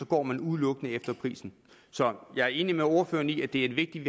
går man udelukkende efter prisen så jeg er enig med ordføreren i at det er vigtigt